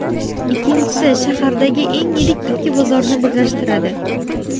Ikkinchisi shahardagi eng yirik ikki bozorni birlashtiradi.